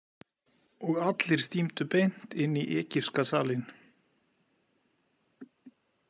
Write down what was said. Og allir stímdu beint inn í egypska salinn.